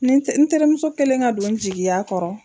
Nin n n terimuso kɛlen ka don n jigiya kɔrɔ.